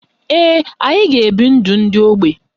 Ee, anyị ga-ebi ndụ ndị ógbè.